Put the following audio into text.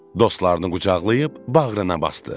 Dostlarını qucaqlayıb bağrına basdı.